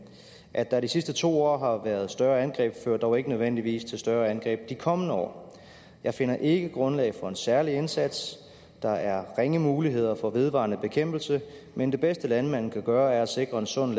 at der i de sidste to år har været større angreb fører dog ikke nødvendigvis til større angreb de kommende år jeg finder ikke grundlag for en særlig indsats der er ringe muligheder for vedvarende bekæmpelse men det bedste landmanden kan gøre er at sikre en sund